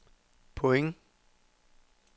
point